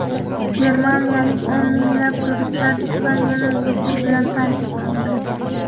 Germaniyalik o‘n minglab turistlar Ispaniyani zudlik bilan tark etmoqda.